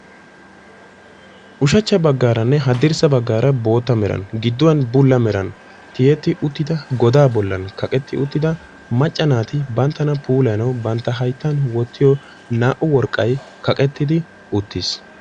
ushachcha bagaaranne haddirssa bagaara bulla meran giduwan bootta meran godaa bolan kaqetti uttida mcca naati banttana puulayanawu bantta hayttan wottiyo naa'u worqqay kaqettidi uttiis.